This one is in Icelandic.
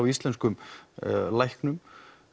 íslenskum læknum